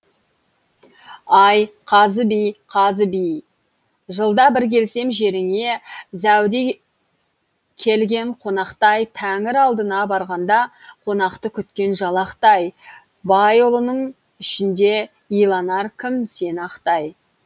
ай қазы би қазы би жылда бір келсем жеріңе зәуде келген қонақтай тәңір алдына барғанда қонақты күткен жалақтай байұлының ішінде иланар кім сені ақтай